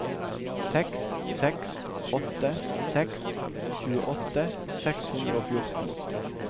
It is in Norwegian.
seks seks åtte seks tjueåtte seks hundre og fjorten